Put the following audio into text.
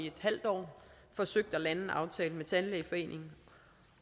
et halvt år forsøgt at lande en aftale med tandlægeforeningen